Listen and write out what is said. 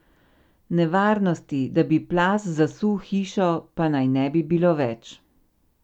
Nevarnosti, da bi plaz zasul hišo, pa naj ne bi bilo več.